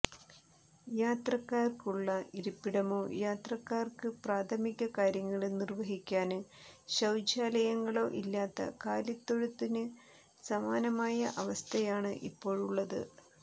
യാത്രക്കാര്ക്കുള്ള ഇരിപ്പിടമോ യാത്രക്കാര്ക്ക് പ്രാഥമിക കാര്യങ്ങള് നിര്വഹിക്കാന് ശൌചാലയങ്ങളോ ഇല്ലാത്ത കാലിത്തൊഴുത്തിന് സമാനമായ അവസ്ഥയാണ് ഇപ്പോഴുള്ളത്